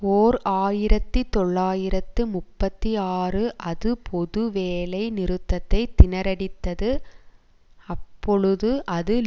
ஓர் ஆயிரத்தி தொள்ளாயிரத்து முப்பத்தி ஆறு அது பொது வேலை நிறுத்தத்தை திணறடித்தது அப்பொழுது அது